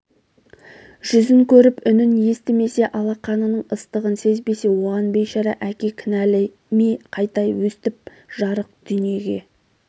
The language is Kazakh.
жүзін көріп үнін естімесе алақанының ыстығын сезбесе оған бейшара әке кінәл ме қайта өстіп жарық дүниеге